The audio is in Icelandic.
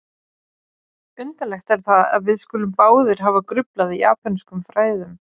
Undarlegt er það, að við skulum báðir hafa gruflað í japönskum fræðum